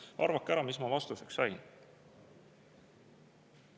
Arvake ära, mis ma vastuseks sain!